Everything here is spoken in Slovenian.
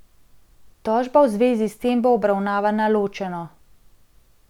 Tožba v zvezi s tem bo obravnavana ločeno.